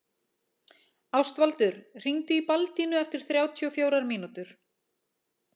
Ástvaldur, hringdu í Baldínu eftir þrjátíu og fjórar mínútur.